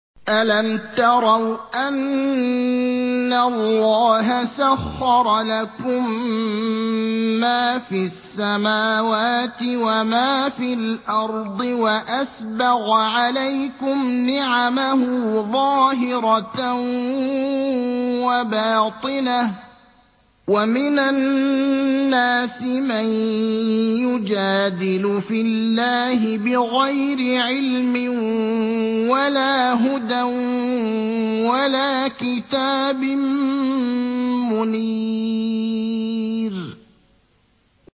أَلَمْ تَرَوْا أَنَّ اللَّهَ سَخَّرَ لَكُم مَّا فِي السَّمَاوَاتِ وَمَا فِي الْأَرْضِ وَأَسْبَغَ عَلَيْكُمْ نِعَمَهُ ظَاهِرَةً وَبَاطِنَةً ۗ وَمِنَ النَّاسِ مَن يُجَادِلُ فِي اللَّهِ بِغَيْرِ عِلْمٍ وَلَا هُدًى وَلَا كِتَابٍ مُّنِيرٍ